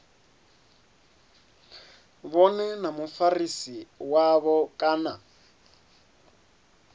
vhone na mufarisi wavho kana